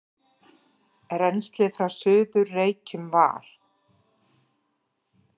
Rennslið frá Suður-Reykjum var